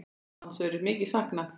Hans verður mikið saknað.